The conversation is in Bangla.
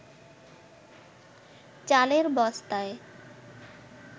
চালের বস্তায়